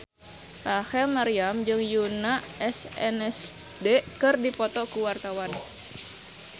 Rachel Maryam jeung Yoona SNSD keur dipoto ku wartawan